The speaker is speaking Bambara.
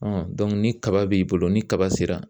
ni kaba b'i bolo ni kaba sera